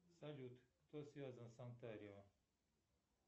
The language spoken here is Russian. салют кто связан с онтарио